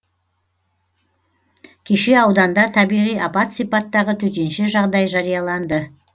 кеше ауданда табиғи апат сипаттағы төтенше жағдай жарияланды